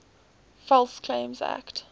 false claims act